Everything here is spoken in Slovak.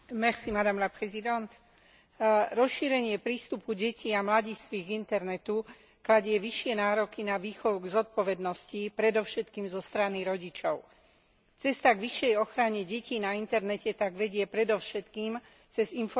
Rozšírenie prístupu detí a mladistvých k internetu kladie vyššie nároky na výchovu k zodpovednosti predovšetkým zo strany rodičov. Cesta k vyššej ochrane detí na internete tak vedie predovšetkým cez informovanie rodičov a tiež učiteľov.